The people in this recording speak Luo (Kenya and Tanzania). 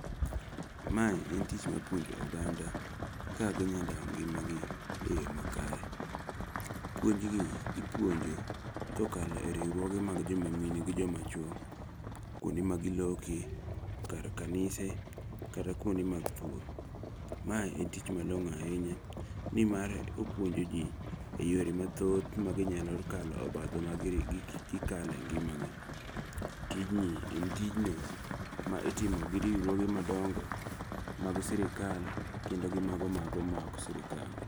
Ma en tich mar puonjo oganda kaka ginyalo dago ngimagi e yoo makare. Puonjni ipuonjo kokalo e riwruoge mag jomamine gi joma chuo kuonde ma giloke, kar kanise kata kuonde mag pur. Mae en tich malong'o ahinya nimar opuonjo ji eyore mathoth maginyalo kakalo obadho ma gikalo e ngimagi. Tijni en tich mitimo gi riwruoge madongo mag sirkal kendo gi mago maok mag sirkal.